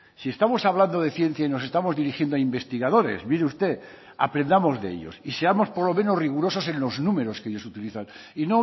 si estamos hablando de ciencia y nos estamos dirigiendo a investigadores mire usted aprendamos de ellos y seamos por lo menos rigurosos en los números que ellos utilizan y